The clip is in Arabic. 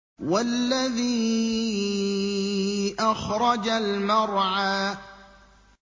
وَالَّذِي أَخْرَجَ الْمَرْعَىٰ